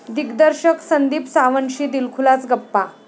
दिग्दर्शक संदीप सावंतशी दिलखुलास गप्पा